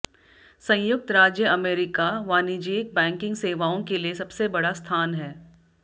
संयुक्त राज्य अमेरिका वाणिज्यिक बैंकिंग सेवाओं के लिए सबसे बड़ा स्थान है